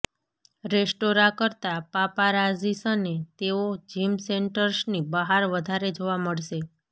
restaurant કરતાં પાપારાઝીસને તેઓ જિમ સેન્ટર્સની બહાર વધારે જોવા મળશે